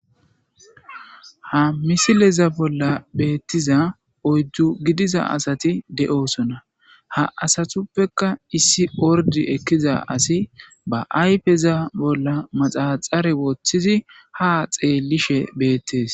Ha misileza bolla beettiza ojju gidiza asati de7osona ha asatuppeka issi ordi ekkiza asi ba ayfeza bolla maxaxare woththizi ha xeellishe beettes.